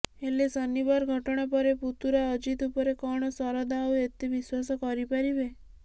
ହେଲେ ଶନିବାର ଘଟଣା ପରେ ପୁତୁରା ଅଜିତ ଉପରେ କଣ ଶରଦ ଆଉ ଏତେ ବିଶ୍ୱାସ କରିପାରିବେ